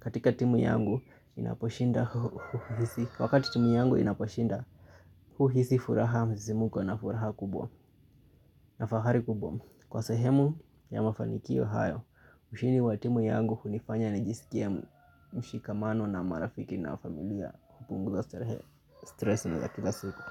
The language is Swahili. Katika timu yangu inaposhinda huuhisi wakati timu yangu inaposhinda huuhisi furaha mzizimuko na furaha kubwa. Na fahari kubwa kwa sehemu ya mafanikio hayo ushindi wa timu yangu hunifanya nijisikie mshikamano na marafiki na familia hupunguza stresi za kila siku.